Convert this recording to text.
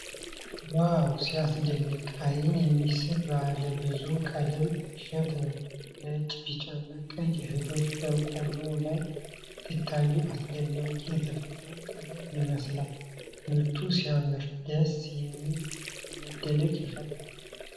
ዋው ሲያስደንቅ! አይን የሚስብ ባለብዙ ቀለም እሸት ነው። ነጭ፣ ቢጫና ቀይ እህሎች በቆሎው ላይ ሲታዩ አስደናቂ የተፈጥሮ ጥበብ ይመስላል። ምርቱ ሲያምር! ደስ የሚል መደነቅ ይፈጠራል።